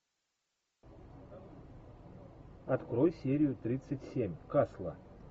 открой серию тридцать семь касла